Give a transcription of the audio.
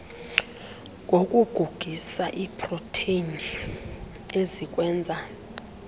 ngokugugisa iiproteni ezikwenza